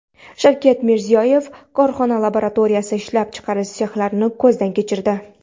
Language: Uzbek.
Shavkat Mirziyoyev korxona laboratoriyasi, ishlab chiqarish sexlarini ko‘zdan kechirdi.